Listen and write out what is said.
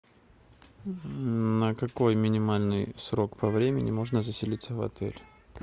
на какой минимальный срок по времени можно заселиться в отель